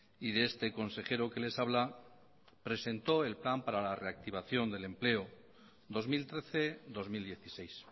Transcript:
y de este consejero que les habla presentó el plan para la reactivación del empleo dos mil trece dos mil dieciséis